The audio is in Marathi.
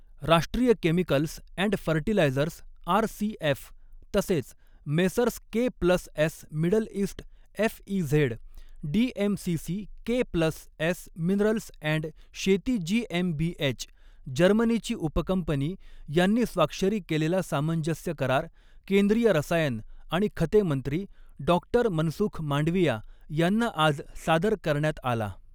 राष्ट्रीय केमिकल्स अँड फर्टिलायझर्स आरसीएफ, तसेच Messrs K plus S Middle East FZE, DMCC K plus S minerals and शेती जीएमबीएच, जर्मनीची उपकंपनी यांनी स्वाक्षरी केलेला सामंजस्य करार, केंद्रीय रसायन आणि खते मंत्री, डॉ मनसुख मांडविया यांना आज सादर करण्यात आला.